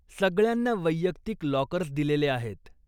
सगळ्यांना वैयक्तिक लाॅकर्स दिलेले आहेत.